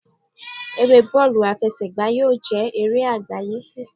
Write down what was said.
Eré bọọlu afesegba yíò ma jé eré agbaye